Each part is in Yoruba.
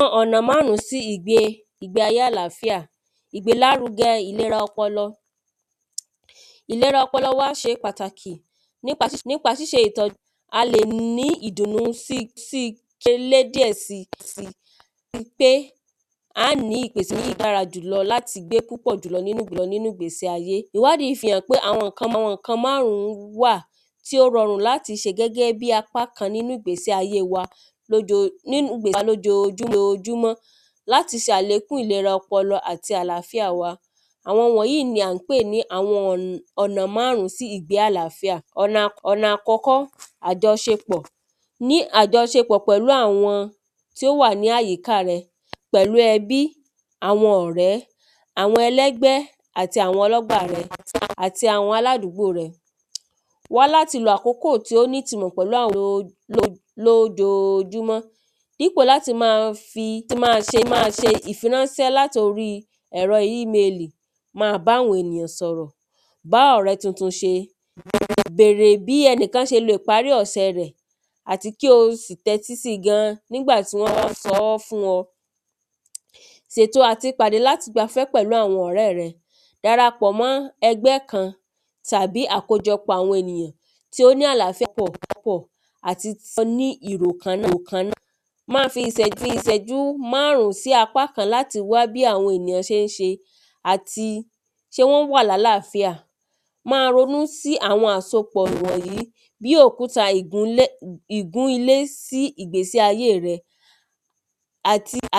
Àwọn ọ̀nà márùn sí ìgbé ayé àláfíà ìgbélárugẹ ìlera ọpọlọ. Ìlera ọpọlọ wa ṣe pàtàkì nípa ṣíṣe ìtọ́jú a lè ní ìdùnú díẹ̀ sí àti pé á ní ìpèsílè dára jù lọ láti gbé púpọ̀ nínú ìgbésí ayé Ìwádìí fi hàn pé àwọn nǹkan márùn wà tí ó rọrùn láti ṣe gẹ́gẹ́ bí apá kan nínú ìgbésí ayé wa nínú ìgbésí ayé wa lójojúmọ́ láti sàlékún ìlera ọpọlọ àti àláfíà wa àwọn wọ̀nyìí ni à ń pè ní ọ̀nà márùn sí ìgbésí ayé àláfíà ọ̀nà àkọ́kọ́ àjọṣepọ̀ ní àjọṣepọ̀ pẹ̀lú àwọn tí ó wà ní àyíká rẹ pẹ̀lú ẹbí àwọn ọ̀rẹ́ àwọn ẹlẹ́gbẹ́ àti àwọn ọlọ́gbà rẹ àti àwọn aládúgbò rẹ wá láti lo àkókò tí ó nítunmò pẹ̀lú àwọn lójojúmọ́ nípò láti má ṣe ìfiránṣẹ́ láti orí ẹ̀rọ email má bá àwọn ènìyàn sọ̀rọ̀ bá ọ̀rẹ́ tuntun ṣe bèrè bí ẹnìkan ṣe parí ọ̀sẹ̀ rẹ̀ àti kí o sì tẹ́tí sí gan nígbà tí wọ́n ń sọ́ fún ọ sètò àti pàdé láti gbafẹ́ pẹ̀lú àwọn ọ̀rẹ́ rẹ dara pọ̀ mọ́ ẹgbẹ́ kan tàbí àkójọpọ̀ àwọn ènìyàn tí ó ní àláfíà papọ̀ àti tí ó ní ìrò kan náà má fi ìsẹ́jú márùn sí apá kan láti wá bí àwọn èyàn ṣé ń ṣe àti ṣé wọ́n wà lálàfíà má ronú sí àwọn àsopọ̀ wọ̀nyìí bí òkúta ìgúnlẹ̀ ìgún ilé sí ìgbésí ayé rẹ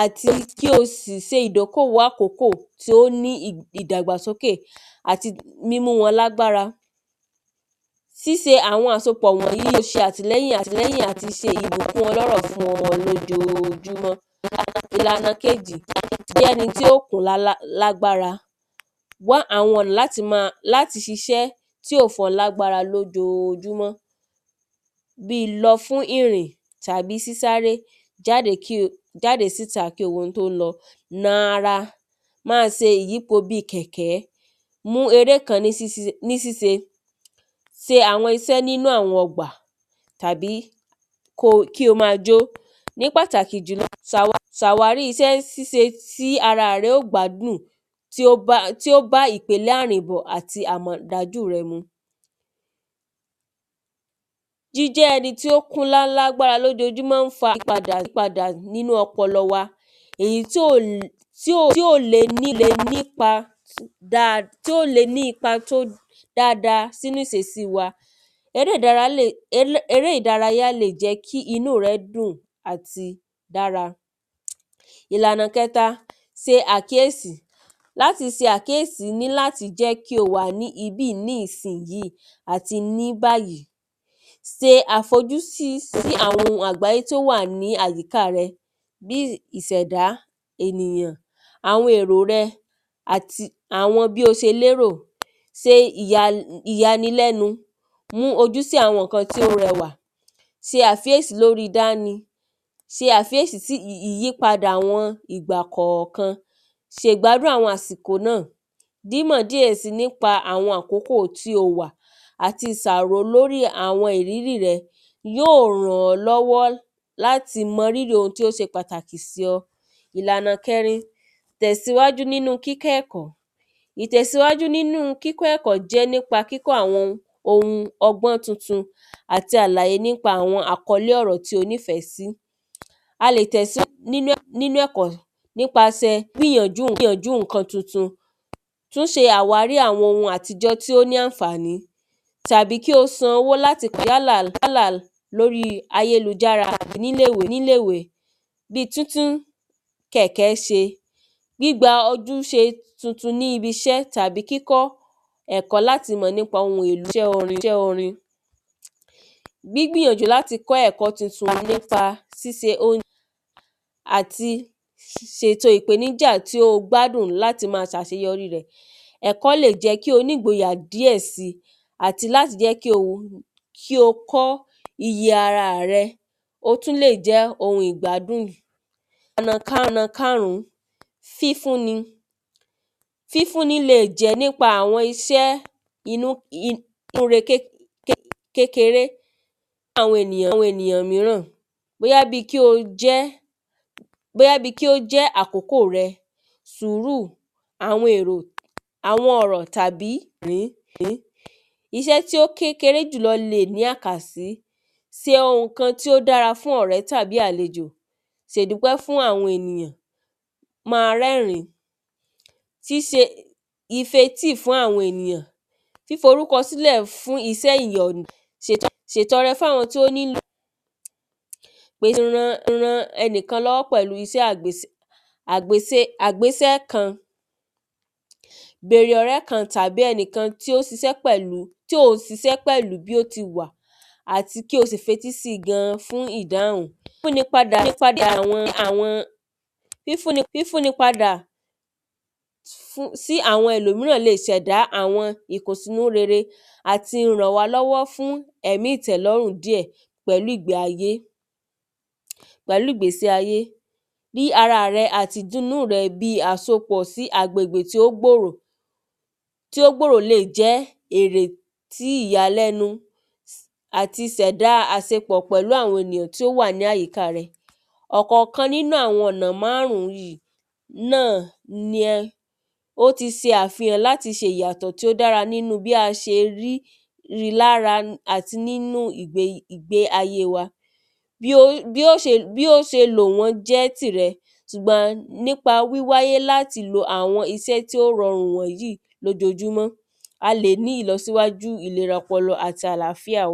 àti kí o sì se ìdókòwò àkókò ìdàgbàsókè àti mímú wọn lágbára. síse àwọn àsopọ̀ wọ̀nyìí le ṣe àtìlẹ́yìn àti ṣe ọlọ́rọ̀ fún ọ lójojúmọ́. Ìlànà kejì jẹ́ eni tí ó kún lálágbára wá àwọn ọ̀nà láti má tí ó fún ọ lágbára lójojúmọ́ bí lọ fún ìrìn tàbí sísáré jáde kí o jáde síta kí o wo ohun tí ó ń lọ na ara má se ìyípo bí kẹ̀kẹ́ mú eré kan ní síse se àwọn isẹ́ nínú àwọn ọgbà tàbí kó kí o má jó ní pàtàkì jùlọ sàwárí isẹ́ síse tí ara rẹ ó gbádùn tí ó bá ìpèlé àrìnbọ̀ àti àmọ̀ dájú rẹ mu. Jíjẹ́ ẹni tó ó kún ńlá ńlá lójojúmọ́ má ń fa ìpadà ìpadà nínú ọpọlọ wa èyí tí ò lé nípa tí ó le nípa tó dá nínú ìsesí wa eré ìdárayá le jẹ́ kínú rẹ dùn àti dára Ìlànà kẹta se àkíyèsí láti se àkíyèsí jẹ́ kí o wà níbìyí nísìyí àti ní bàyìí se àfojúsí sí àwọn ohun àgbàyé tí ó wà ní àyíká rẹ bí ìsẹ̀dá ènìyàn àwọn èrò rẹ àti àwọn bí o se lérò se ìyanilẹ́nu mú ojú sí àwọn nǹkan tí ó rẹwà se àkíyèsí to fi dáni se àkíyèsí sí àwọn ìyípadà kọ̀kan se ìgbádùn àwọn àsìkò náà mímọ̀ díẹ̀ sí nípa àwọn àkókò tí o wà àti ìsàrò lórí àwọn ìrírí rẹ yóò ràn ọ́ lọ́wọ́ láti mọ rírì ohun tí ó se pàtàkì sí ọ. Ìlànà kẹrin tẹ̀síwájú nínú kíkọ́ ẹ̀kọ́ ìtẹ̀síwájú nínú kíkọ́ ẹ̀kọ́ nípa kíkọ́ àwọn ohun ọgbọ́n tuntun àti àlàyé nípa àwọn àkọ́lé ọ̀rọ̀ tí o nífẹ̀ẹ́ sí a lè tẹ̀síwájú nínú ẹ̀kọ́ nípa gbìyànjú nǹkan tuntun tún ṣe àwárí àwọn ohun àtijọ́ tí ó ní ànfàní tàbí kí o san owó láti yálà tó bí ayélujára nílé ìwé bí títí kẹ̀kẹ́ ṣe gbígba ojúṣe tuntun níbiṣẹ́ tàbí kíkọ́ ẹ̀kọ́ láti mọ̀ nípa iṣẹ́ orin gbígbìyànjú láti kọ́ ẹ̀kọ́ tuntun nípa se àti sètò ìpèníjà tí o gbádùn láti má sàseyọrí rẹ̀ ẹ̀kọ́ le jẹ́ kí o nígboyà díẹ̀ si àti láti jẹ́ kí o kí o kọ́ iye ara rẹ ó tún lè jẹ́ ohun ìgbádùn Ọ̀nà karùn fífún ni fífún ni le jẹ́ nípa àwọn iṣẹ́ inú re kékeré fún àwọn ènìyàn míràn bóyá bí kí o jẹ́ bóyá bí kí ó jẹ́ àkókò rẹ sùúrù àwọn èrò àwọn ọ̀rọ̀ tàbí iṣẹ́ tí ó kéré jù lọ le ní àkàsí se ohun kan tí ó dára fún ọ̀rẹ́ tàbí àlejò se ìdúpẹ́ fún àwọn ènìyàn má rẹ́rìn síse ife tí fún àwọn ènìyàn fíforúkọ sílẹ̀ fún iṣẹ́ ìrọ̀rùn sètọrẹ fún àwọn tó ń pè ran ẹnìkan lọ́wọ́ pẹ̀lú isẹ́ àgbésẹ́ kan bèrè ọ̀rẹ́ kan tí ò ń sisẹ́ pẹ̀lú bí ó ti wà àti kí o sì fetí sí gan fún ìdáhùn fún ni padà àwọn fífún ni padà sí àwọn ẹlòmíràn le sẹ̀dá ìkùnsínú rere àti ràn wá lọ́wọ́ fún ẹ̀mí ìtẹ́lórùn díẹ̀ pẹ̀lú ìgbé ayé pẹ̀lú ìgbésí ayé rí ara rẹ àti ìdúnú rẹ pẹ̀lú agbègbè tí ó gbòrò tí ó gbòrò le jẹ́ èrè tí ìyàlẹ́nu àti sẹ̀dá àsepọ̀ pẹ̀lú àwọn ènìyàn tí ó wà ní àyíká rẹ ọ̀kọ̀kan nínú àwọn ọ̀nà márùn yìí náà yẹ ó ti se àfihàn láti sèyàtọ̀ tó dára nínú bí a se rí rí lára àti nínú ìgbé ayé wa bí ó bí ó ṣe lò wọ̣́n jẹ́ tìrẹ ṣùgbọ́n nípa wíwáyé láti lo àwọn isẹ́ tí ó rọrùn wọ̀nyìí lójojúmọ́ a lè ní ìlọsíwájú ìlera ọpọlọ àti àláfíà.